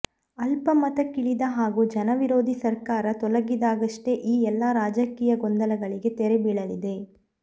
ಅಲ್ಪಮತಕ್ಕಿಳಿದ ಹಾಗೂ ಜನವಿರೋಧಿ ಸರ್ಕಾರ ತೊಲಗಿದಾಗಷ್ಟೇ ಈ ಎಲ್ಲ ರಾಜಕೀಯ ಗೊಂದಲಗಳಿಗೆ ತೆರೆ ಬೀಳಲಿದೆ